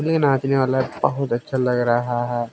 लिए नाचने वाला बहुत अच्छा लग रहा है।